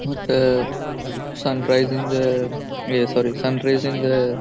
ಮತ್ತೆ sun rising ಏ sorry sun rising .--